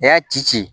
A y'a ci ci